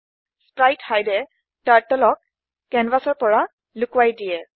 spritehideএ turtle কেনভাচৰ পৰা লোকোৱাই দিয়ে